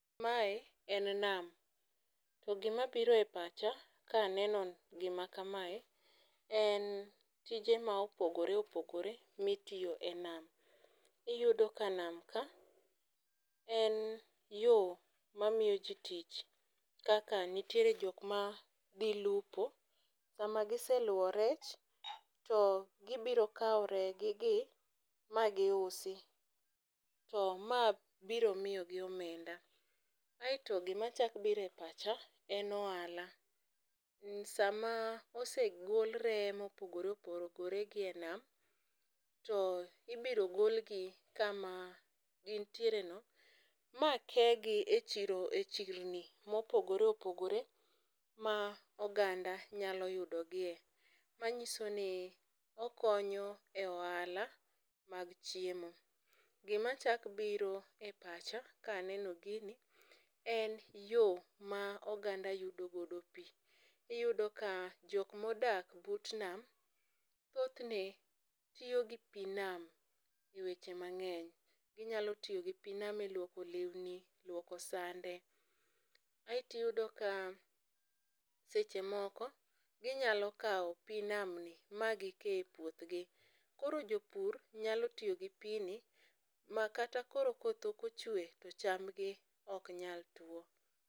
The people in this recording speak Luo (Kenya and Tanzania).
Mae en nam to gima biro e pacha kaneno gima kamae en tije ma opogore opogore mitiyo e nam. Iyudo ka nam ka en yoo mamiyo jii tich kaka nitiere jok ma dhi lupo, sama giseluwore rech to gibiro kawo reye gi gi ma gi usi . To ma biro miyo gi omenda. Aeto gima chak bire pacha en ohala sama osegol reye mopogore opogore gi e nam, to ibiro golgi kama gintiere no ma kegi e chiro e chirni mopogore opogore ma oganda nyalo yudogie. Manyiso ni okonyo e ohala mag chiemo. Gima chak biro e pacha kaneno gini en yoo ma oganda yudo godo pii .Iyudo ka jok modak but nam thothne tiyo gi pii nam eweche mang'eny ginyalo tiyo gi pii nam e luoko lewni, luoko sande. Aeti yudo ka seche moko ginyalo kawo pii nam ni magi kee e puothgi. Koro jopur nyalo tiy gi pii ni ma kata koro koth ok ochwe to chambgi ok nyal tuo.